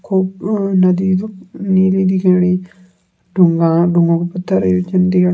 खूब अ नदी जु नीली दिखेणी ढूंगा ढुंगोक पत्थर एचन दिख --